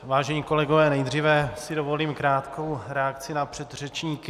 Vážení kolegové, nejdříve si dovolím krátkou reakci na předřečníky.